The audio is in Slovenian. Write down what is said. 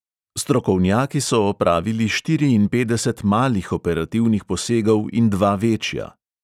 Strokovnjaki so opravili štiriinpetdeset malih operativnih posegov in dva večja.